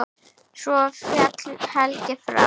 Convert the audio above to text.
Svo féll Helgi frá.